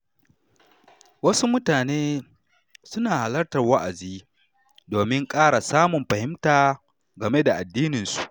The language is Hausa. Wasu mutane suna halartar wa’azi domin ƙara samun fahimta game da addinin su.